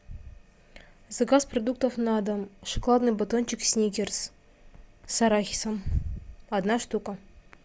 заказ продуктов на дом шоколадный батончик сникерс с арахисом одна штука